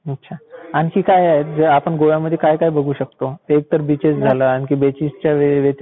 अच्छा. आणखी काय आहे जे आपण गोव्यामध्ये काय काय बघू शकतो? एक तर बिचेस झालं आणखी, बिचेसच्या व्यतिरिक्त काय असतं?